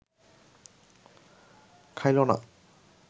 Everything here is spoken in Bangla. খাইল না